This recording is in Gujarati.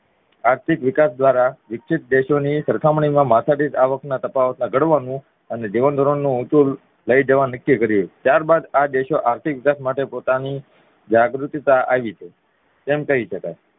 આર્થિક વિકાસ દ્વારા વિકસિત દેશો ની સરખામણી માં માથાદીઢ આવક ના તફાવત ને ઘડવાનું અને જીવનધોરણ ને ઉંચુ લઇ જવા નક્કી કરીએ ત્યારબાદ આ દેશો આર્થિક વિકાસ માટે પોતાની જાગૃતિતા આવી છે તેમ કહી શકાય